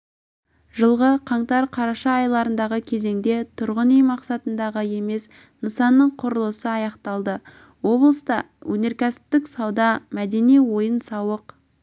жылғы қаңтар қараша аралығындағы кезеңде тұрғын үй мақсатындағы емес нысанның құрылысы аяқталды облыста өнеркәсіптік сауда мәдени-ойын-сауық